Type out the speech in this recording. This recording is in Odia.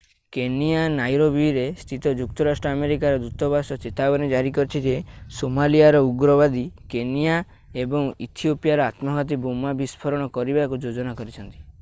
କେନିଆ ନାଇରୋବିରେ ସ୍ଥିତ ଯୁକ୍ତରାଷ୍ଟ୍ର ଆମେରିକାର ଦୂତବାସ ଚେତାବନୀ ଜାରି କରିଛି ଯେ ସୋମାଲିଆର ଉଗ୍ରବାଦୀ କେନିଆ ଏବଂ ଇଥିଓପିଆରେ ଆତ୍ମଘାତୀ ବୋମା ବିସ୍ଫୋରଣ କରିବାକୁ ଯୋଜନା କରୁଛନ୍ତି